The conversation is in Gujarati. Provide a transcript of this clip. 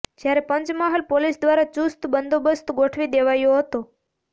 જ્યારે પંચમહાલ પોલીસ દ્વારા ચુસ્ત બંદોબસ્ત ગોઠવી દેવાયો હતો